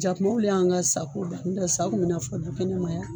Jakumaw le y'an ka sago ban, n tɛ sa kun bɛ na fɔ dukɛnɛma yan.